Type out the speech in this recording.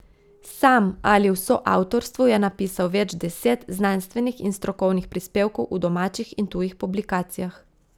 Sam ali v soavtorstvu je napisal več deset znanstvenih in strokovnih prispevkov v domačih in tujih publikacijah.